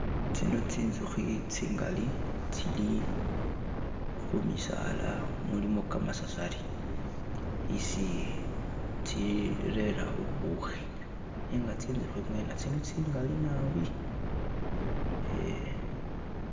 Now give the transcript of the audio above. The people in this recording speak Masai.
Tsino tsinzukhi tsingali tsili kumisala mulimo kamasasali isi tsi lera bubukhi nega tsinzukhi mwene tsino tsili tsingali naabi.